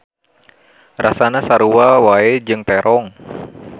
Rasana sarua wae jeung terong.